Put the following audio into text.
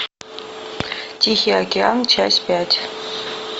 тихий океан часть пять